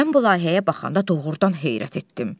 Mən bu layihəyə baxanda doğurdan heyrət etdim.